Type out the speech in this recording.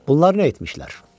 Bunlar nə etmişlər?